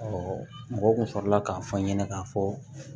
mɔgɔw kun sɔrɔla k'a fɔ an ɲɛna k'a fɔ